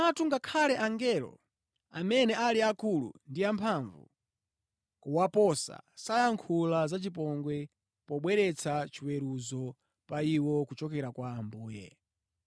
Komatu ngakhale angelo, amene ali akulu ndi amphamvu kuwaposa, sayankhula za chipongwe pobweretsa chiweruzo pa iwo kuchokera kwa Ambuye.